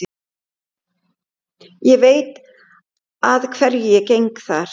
Ég veit að hverju ég geng þar.